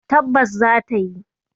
Tabbas za ta yi.